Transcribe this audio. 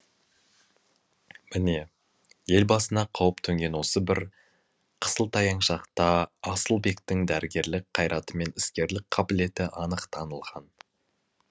міне ел басына қауіп төнген осы бір қысылтаяң шақта асылбектің дәрігерлік қайраты мен іскерлік қабілеті анық танылған